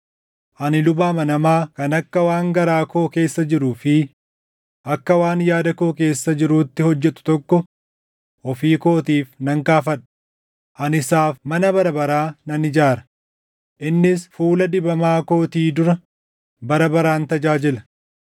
Ani luba amanamaa kan akka waan garaa koo keessa jiruu fi akka waan yaada koo keessa jiruutti hojjetu tokko ofii kootiif nan kaafadha; ani isaaf mana bara baraa nan ijaara; innis fuula dibamaa kootii dura bara baraan tajaajila.